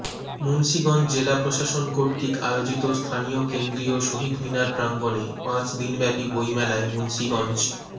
মুন্সিগঞ্জ জেলা প্রশাসন কর্তৃক আয়োজিত স্থানীয় কেন্দ্রীয় শহীদ মিনার প্রাঙ্গণে পাঁচ দিনব্যাপী বইমেলায় মুন্সিগঞ্জ